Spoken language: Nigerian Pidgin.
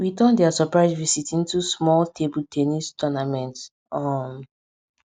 we turn dia surprise visit into small table ten nis tournament um